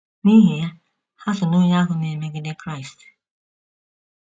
N’ihi ya, ha so n’onye ahụ na - emegide Kraịst.